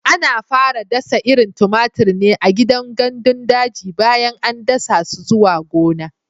Ana fara dasa irin tumatir ne a gidan gandun daji bayan an dasa su zuwa gona.